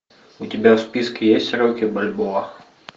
у тебя в списке есть рокки бальбоа